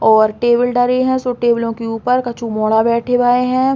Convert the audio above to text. और टेबल डरे हैं सो टेबलो के ऊपर कछु मोड़ा बैठे भए हैं।